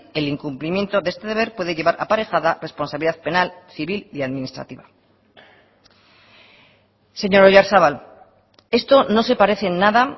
el incumplimiento de este deber puede llevar aparejada responsabilidad penal civil y administrativa señor oyarzabal esto no se parece en nada